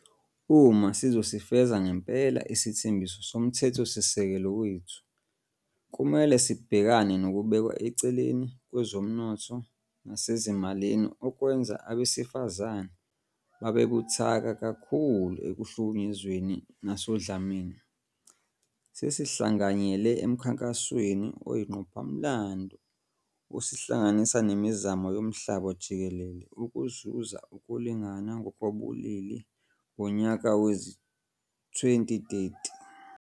Uma sizosifeza ngempela isithembiso soMthethosisekelo wethu kumele sibhekane nokubekwa eceleni kwezomnotho nasezimalini okwenza abesifazane babe buthaka kakhulu ekuhlukunyezweni nasodlameni. Sesihlanganyele emkhankasweni oyingqophamlando osihlanganisa nemizamo yomhlaba jikelele ukuzuza ukulingana ngokobulili ngonyaka wezi-2030.